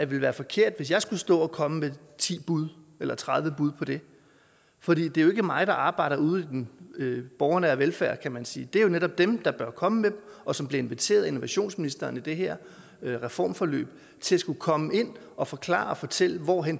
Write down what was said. ville være forkert hvis jeg skulle stå og komme med ti bud eller tredive bud på det for det er jo ikke mig der arbejder ude i den borgernære velfærd kan man sige det er jo netop dem der bør komme med dem og som bliver inviteret af innovationsministeren i det her reformforløb til at skulle komme ind og forklare og fortælle hvor